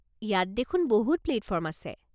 ইয়াত দেখোন বহুত প্লেটফৰ্ম আছে।